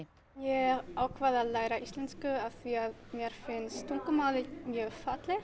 ég ákvað að læra íslensku af því að mér finnst tungumálið mjög fallegt